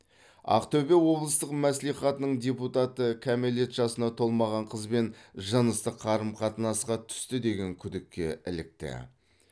ақтөбе облыстық мәслихатының депутаты кәмелет жасына толмаған қызбен жыныстық қарым қатынасқа түсті деген күдікке ілікті